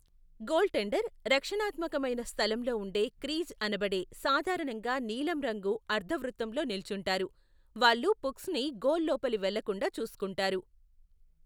Goaltender రక్షణాత్మకమైన స్థలంలో ఉండే క్రీజ్ అనబడే సాధారణంగా నీలం రంగు అర్ధ వృత్తంలో నిల్చుంటారు, వాళ్ళు పుక్స్ని గోలు లోపలి వెళ్లకుండా చూసుకుంటారు.